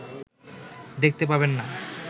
দেখতে পাবেন না